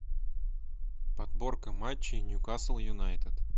подборка матчей ньюкасл юнайтед